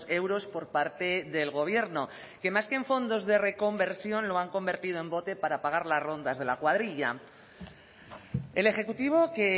euros por parte del gobierno que más que en fondos de reconversión lo han convertido en bote para pagar las rondas de la cuadrilla el ejecutivo que